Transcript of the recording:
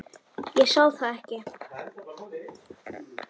Ég sá það ekki.